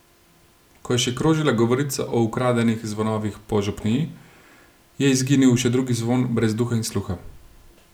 Ko je še krožila govorica o ukradenih zvonovih po župniji, je izginil še drugi zvon brez duha in sluha.